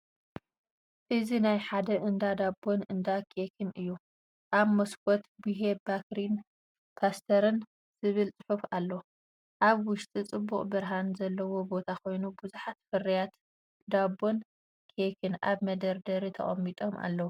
እዚ ናይ ሓደ እንዳ ዳቦን እንዳ ኬክን እዩ። ኣብ መስኮት “ቡሄ ባከሪን ፓስተርን” ዝብል ጽሑፍ ኣሎ። ኣብ ውሽጢ ጽቡቕ ብርሃን ዘለዎ ቦታ ኮይኑ ብዙሓት ፍርያት ዳቦን ኬክን ኣብ መደርደሪታት ተቐሚጦም ኣለዉ።